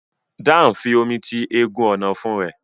Dan fí omí tí egún Ọ̀nà-ọ̀fun rẹ.